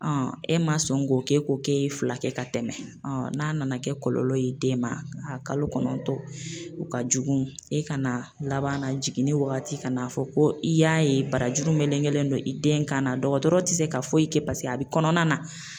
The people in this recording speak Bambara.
e ma sɔn k'o kɛ ko k'e ye fila kɛ ka tɛmɛ n'a nana kɛ kɔlɔlɔ ye den ma kalo kɔnɔntɔn o ka jugu e ka na laban na jiginni wagati ka n'a fɔ ko i y'a ye barajuru melekelen don i den kan na dɔgɔtɔrɔ te se ka foyi kɛ paseke a bɛ kɔnɔna na